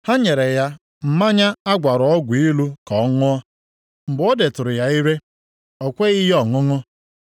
Ha nyere ya mmanya a gwara ọgwụ ilu ka ọ ṅụọ. Mgbe o detụrụ ya ire, o kweghị ya ọṅụṅụ.